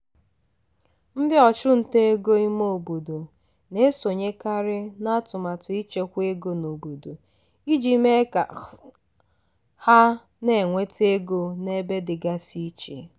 ndị ọchụnta ego ime obodo na-esonyekarị n'atụmatụ ịchekwa ego n'obodo iji mee ka ha na-enweta ego n'ebe dịgasị iche.